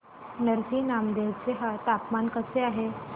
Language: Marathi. नरसी नामदेव चे तापमान कसे आहे